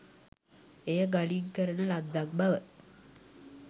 එය ගලින් කරන ලද්දක් බව